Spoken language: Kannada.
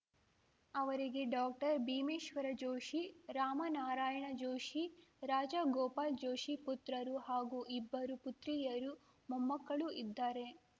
ಅವರಿಗೆ ಡಾಕ್ಟರ್ಭೀಮೇಶ್ವರ ಜೋಷಿ ರಾಮನಾರಾಯಣ ಜೋಷಿ ರಾಜಗೋಪಾಲ್‌ ಜೋಷಿ ಪುತ್ರರು ಹಾಗೂ ಇಬ್ಬರು ಪುತ್ರಿಯರು ಮೊಮ್ಮಕ್ಕಳು ಇದ್ದಾರೆ